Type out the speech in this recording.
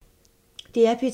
DR P2